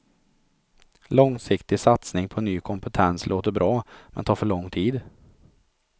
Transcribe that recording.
Långsiktig satsning på ny kompentens låter bra, men tar för lång tid.